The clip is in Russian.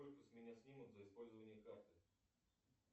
сколько с меня снимут за использование карты